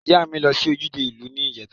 Iya mi lo si ojude iu ni ijeta.